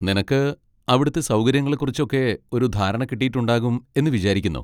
നിനക്ക് അവിടുത്തെ സൗകര്യങ്ങളെക്കുറിച്ചൊക്കെ ഒരു ധാരണ കിട്ടിയിട്ടുണ്ടാകും എന്ന് വിചാരിക്കുന്നു.